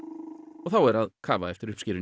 og þá er að kafa eftir uppskerunni